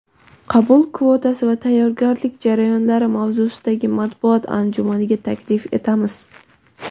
qabul kvotasi va tayyorgarlik jarayonlari mavzusidagi matbuot anjumaniga taklif etamiz!.